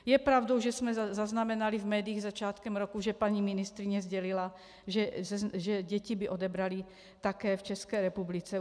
Je pravdou, že jsme zaznamenali v médiích začátkem roku, že paní ministryně sdělila, že děti by odebrali také v České republice.